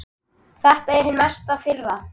Þetta er hin mesta firra.